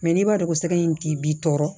n'i b'a dɔn ko sɛgɛ in k'i b'i tɔɔrɔ